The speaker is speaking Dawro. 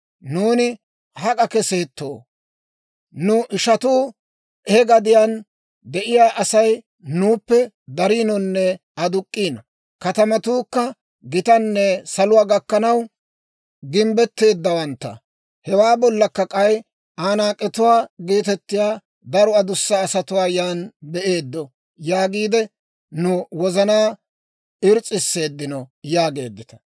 Nuuni hak'a keseettoo? Nu ishatuu «He gadiyaan de'iyaa Asay nuuppe dariinonne aduk'k'iino. Katamatuukka gitanne saluwaa gakkanaw gimbbetteeddawantta. Hewaa bollakka k'ay Anaak'etuwaa geetettiyaa daro adussa asatuwaa yan be'eeddo» yaagiide, nu wozanaa irs's'iseeddino yaageeddita.